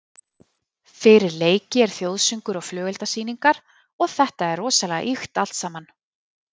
Fyrir leiki er þjóðsöngur og flugeldasýningar og þetta er rosalega ýkt allt saman.